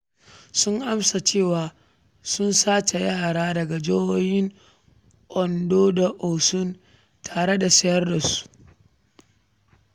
Sun amsa cewa sun sace yara daga jihohin Ondo da Osun tare da sayar da su.